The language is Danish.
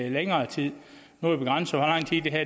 i længere tid